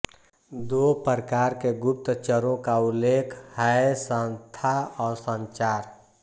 दो प्रकार के गुप्तचरों का उल्लेख हैसंस्था और संचार